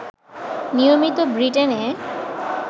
নিয়মিত ব্রিটেনে